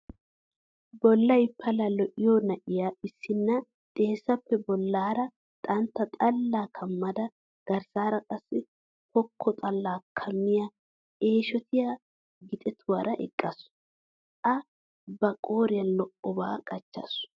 Bollay pala lo'iyo na'a issinna xeessappe bollaara xantta xallaa kammada garssaara qassi pokko xallaa kammiya eeshotiya gixetuwara eqaasu.A ba qooriyan al"obaa qachchasu.